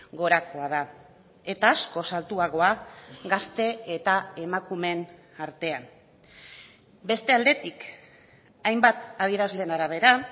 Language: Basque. gorakoa da eta askoz altuagoa gazte eta emakumeen artean beste aldetik hainbat adierazlen arabera